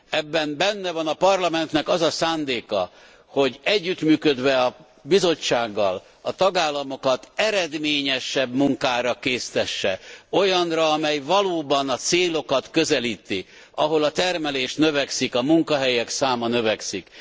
Ebben benne van a Parlamentnek az a szándéka, hogy együttműködve a Bizottsággal a tagállamokat eredményesebb munkára késztesse. Olyanra, amely valóban a célokat közelíti, ahol a termelés növekszik, a munkahelyek száma növekszik.